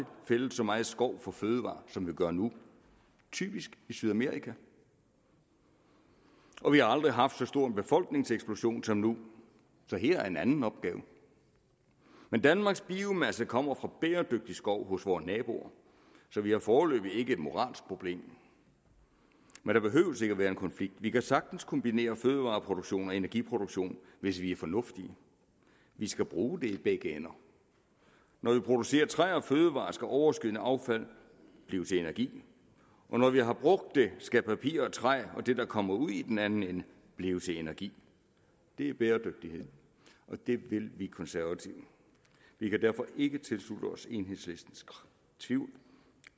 fældet så meget skov for fødevarer som vi gør nu typisk i sydamerika og vi har aldrig haft så stor en befolkningseksplosion som nu så her er en anden opgave men danmarks biomasse kommer fra bæredygtig skov hos vore naboer så vi har foreløbig ikke et moralsk problem der behøves ikke at være en konflikt vi kan sagtens kombinere fødevareproduktion og energiproduktion hvis vi er fornuftige vi skal bruge det i begge ender når vi producerer træ og fødevarer skal overskydende affald blive til energi og når vi har brugt det skal papir og træ og det der kommer ud i den anden ende blive til energi det er bæredygtighed og det vil vi konservative vi kan derfor ikke tilslutte os enhedslistens tvivl